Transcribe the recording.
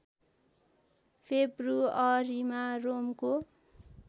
फेब्रुअरीमा रोमको